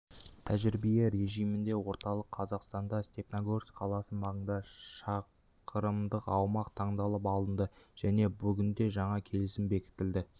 тәжірибе режимінде орталық қазақстанда степнагорск қаласы маңында шақырымдық аумақ таңдалып алынды және бүгінде жаңа келісім бекітілді